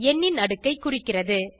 எண்ணின் அடுக்கைக் குறிக்கிறது